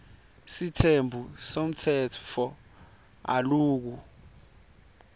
sitembu semtsetfo aloku